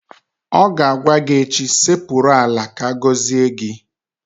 Ọ ga-agwa gị echi "Sekpuru ala ka agọzie gị!